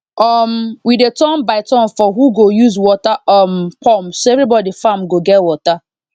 um we dey turn by turn for who go use water um pump so everybody farm go get water